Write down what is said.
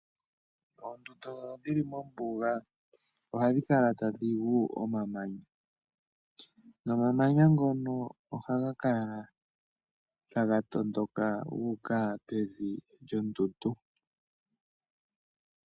Oondundu dhili mombunga ohadhi kala tadhingu omamanya , nomamanya ngono oha gakala ta ga tondoka guka pevi lyondundu.